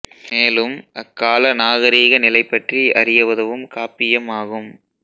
மேலும் அக்கால நாகரிக நிலை பற்றி அறிய உதவும் காப்பியம் ஆகும்